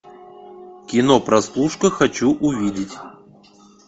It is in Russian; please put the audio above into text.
кино прослушка хочу увидеть